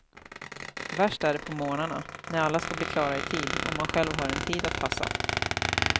Värst är det på morgnarna, när alla ska bli klara i tid och man själv har en tid att passa.